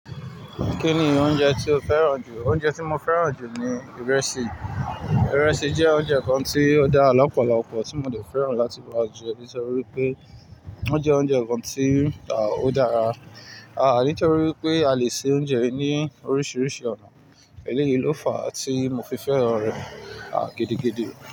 Kí ni oúnjẹ tí o fẹ́ràn jù? Oúnjẹ tí mo fẹ́ràn jù ni ìrẹsì. Ìrẹsì jẹ́ oúnjẹ kan tí ó dára lọ̀pọ̀lopo tí mo de fẹ́ràn láti máa je nítorí pé ó jẹ́ oúnjẹ kan tí ó dára, ah nítorí pé a lè se oúnjẹ ní oríṣiríṣi ọ̀nà. Èléyìí ló fa tí mo fi fẹ́ràn rẹ̀ ah gidigidi.